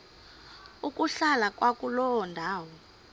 ukuhlala kwakuloo ndawo